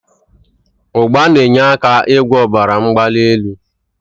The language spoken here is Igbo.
Ugba n'enye aka igwo obara mgbali eli